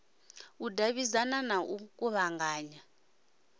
u davhidzana na u kuvhanganya